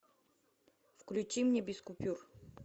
включи мне без купюр